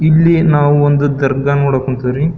ಇಲ್ಲಿ ನಾವು ಒಂದು ದರ್ಗಾ ನೋಡಕ್ ಕುಂತ್ವಿರಿ.